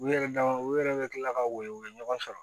U yɛrɛ dama u yɛrɛ bɛ tila ka weele u ye ɲɔgɔn sɔrɔ